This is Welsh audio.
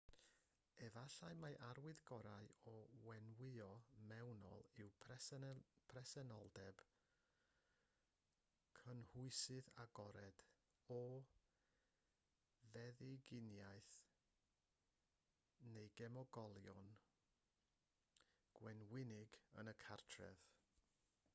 efallai mai'r arwydd gorau o wenwyno mewnol yw presenoldeb cynhwysydd agored o feddyginiaeth neu gemegolion gwenwynig yn y cartref